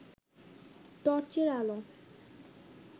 টর্চের আলো